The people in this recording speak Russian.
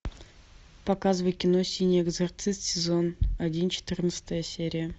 показывай кино синий экзорцист сезон один четырнадцатая серия